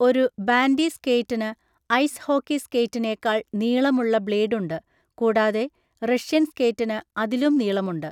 ഒരു ബാൻഡി സ്കേറ്റിന് ice hockey സ്കേറ്റിനേക്കാൾ നീളമുള്ള ബ്ലേഡുണ്ട്, കൂടാതെ 'റഷ്യൻ സ്കേറ്റിന്' അതിലും നീളമുണ്ട്.